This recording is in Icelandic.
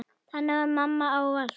Þannig var mamma ávallt.